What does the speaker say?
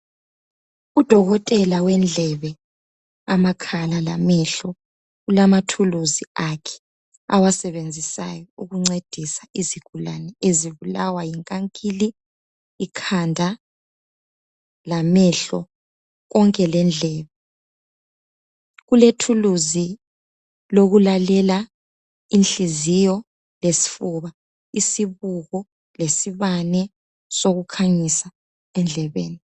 Udokotela wendlebe, amakhala lamehlo ulamathuluzi akhe awasebenzisayo ukuncedisa izigulane ezibulawa yinkankili, ikhanda lamehlo konke lendlebe. Ulethuluzi lokulalela inhliziyo lesifuba, isibuko lesibane sokukhanyisa endlebeni.